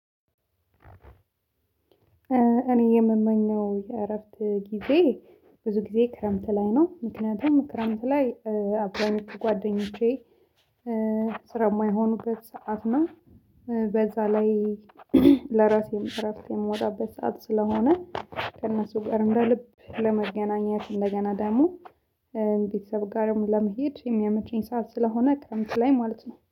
እኔ የምመኘው የእረፍት ጊዜ ብዙ ጊዜ ክረምት ላይ ነው ምክንያቱም ክረምት ላይ አብዛኞቹ ጓደኞቼ ስራ የማይሆኑበት ሰዓት ነው። በዛ ላይ ለራሴ እረፍት የምወጣበት ሰዓት ስለሆነ ከእነሱ ጋር እንደ ልብ ለመገናኘት እንደገና ደግሞ ቤተሰብ ጋርም ለመሄድ የሚያመቸኝ ሰዓት ስለሆነ ክረምት ላይ ማለት ነው